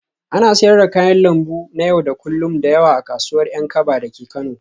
Ana siyar da kayan lambu na yau da kullun da yawa a kasuwar Yankaba dake Kano